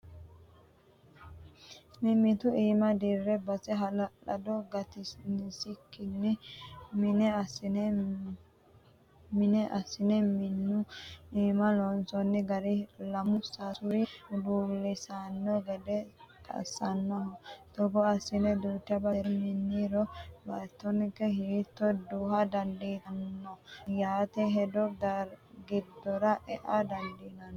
Mimitu iima dire base hala'lado gatinsikkini mine assine minu iima loonsonni gari lamu sasuri huluulisano gede assanoho togo assine duucha basera miniro baattonke hiitto duha dandiittano ytano hedo giddora ea dandiinanni.